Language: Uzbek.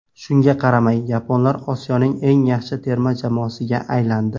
Shunga qaramay, yaponlar Osiyoning eng yaxshi terma jamoasiga aylandi.